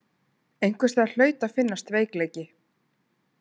Einhvers staðar hlaut að finnast veikleiki.